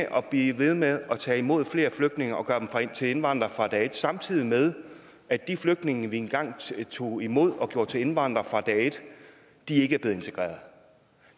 og blevet ved med at tage imod flere flygtninge og gøre dem til indvandrere fra dag et samtidig med at de flygtninge vi engang tog imod og gjorde til indvandrere fra dag et ikke er blevet integreret